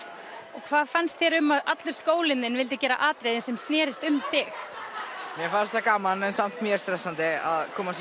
og hvað fannst þér um að allur skólinn þinn vildi gera atriði sem snerist um þig mér fannst það gaman en samt mjög stressandi að koma